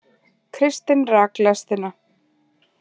Kristinn rak lestina